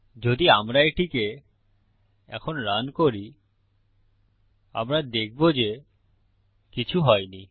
যদি আমরা এটিকে এখন রান করি আমরা দেখবো যে কিছু হয়নি